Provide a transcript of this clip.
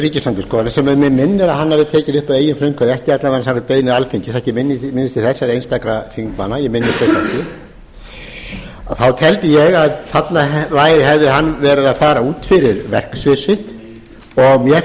ríkisendurskoðunar sem mig minnir að hann hafi tekið upp að eigin frumkvæði ekki alla vega samkvæmt beiðni alþingis eða einstakra þingmanna ég minnist þess ekki þá teldi ég að þarna hefði hann verið að fara út fyrir verksvið sitt og mér